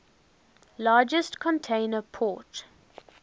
largest container port